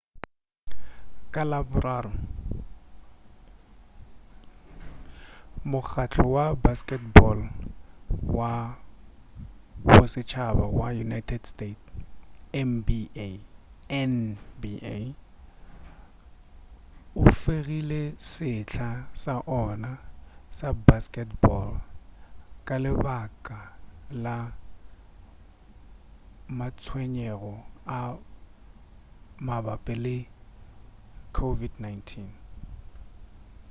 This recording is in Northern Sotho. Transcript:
ka laboraro mokgahlo wa basketball wa bosetšhaba wa united state nba o fegile sehla sa ona sa basketball ka lebaka la matshwenyego a mabapi le covid-19